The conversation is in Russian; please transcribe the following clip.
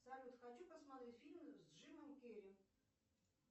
салют хочу посмотреть фильм с джимом керри